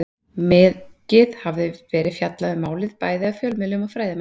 Mikið hafði verið fjallað um málið, bæði af fjölmiðlum og fræðimönnum.